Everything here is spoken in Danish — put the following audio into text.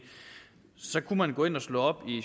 så kunne man gå ind og slå op i